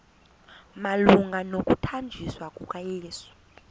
malunga nokuthanjiswa kukayesu